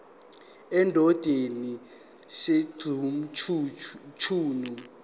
endodeni sj mchunu